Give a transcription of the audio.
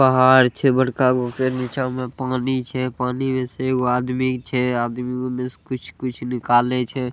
पहाड़ छे बड़का गो का निचा में पानी छे। पानी मे से एगो आदमी छे। आदमी में से कुछ-कुछ निकालै छे।